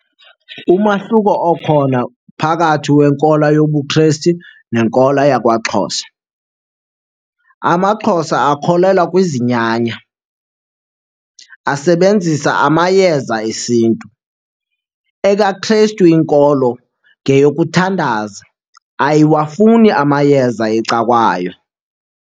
Umahluko okhona phakathi kwenkolo yobuKrestu nenkolo yakwaXhosa. AmaXhosa akholelwa kwizinyanya, asebenzisa amayeza esiNtu. EkaKrestu inkolo ngeyokuthandaza, ayiwafuni amayeza eca'kwayo.